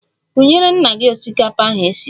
Kunyere nna gị osikapa ahu esiri!